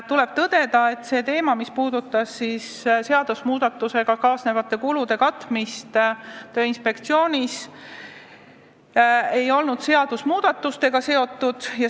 Tuleb tõdeda, et see teema, mis puudutas seadusmuudatusega kaasnevate kulude katmist Tööinspektsioonis, ei olnud seadusmuudatustega seotud.